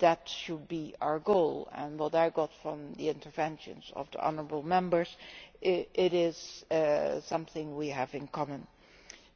That should be our goal, and from what I learnt from the interventions of the honourable Members it is something we have in common